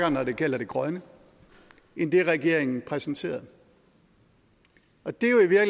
og når det gælder det grønne end det regeringen præsenterede og det